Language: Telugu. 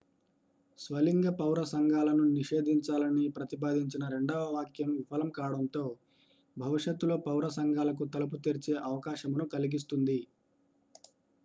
స్వలింగ పౌర సంఘాలను నిషేధించాలని ప్రతిపాదించిన రెండవ వాక్యం విఫలం కావడం భవిష్యత్తులో పౌర సంఘాలకు తలుపు తెరిచే అవకాశమును కలిగిస్తుంది